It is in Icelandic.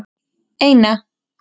eina